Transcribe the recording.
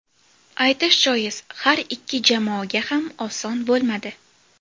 Aytish joiz, har ikki jamoaga ham oson bo‘lmadi.